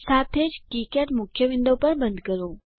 સાથે જ કિકાડ મુખ્ય વિન્ડો પણ બંધ કરો